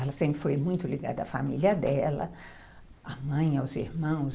Ela sempre foi muito ligada à família dela, à mãe, aos irmãos.